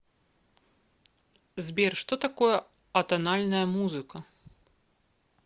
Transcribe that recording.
сбер что такое атональная музыка